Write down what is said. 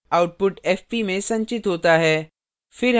output fp में संचित होता है